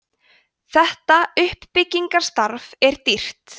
þetta uppbyggingarstarf er dýrt